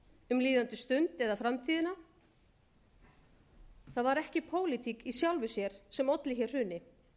um líðandi stund eða framtíðina það var ekki pólitík í sjálfu sér sem olli hér hruni